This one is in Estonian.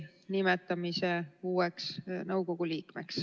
Aitäh!